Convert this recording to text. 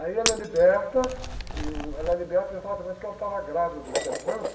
Aí ela é liberta, e, uh, ela é liberta exatamente porque ela estava grávida do.